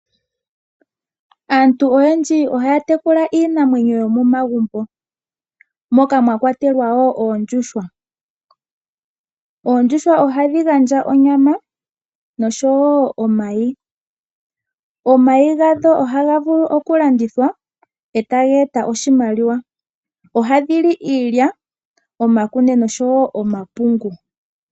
Aantu oyendji ohaya tekula iinamwenyo yomomagumbo moka mwa kwatelwa wo oondjuhwa. Oondjuhwa ohadhi gandja onyama nosho wo omayi. Omayi gadho ohaga vulu okulandithwa e taga eta oshimaliwa. Ohadhi li iilya, omakunde nosho wo omapungu.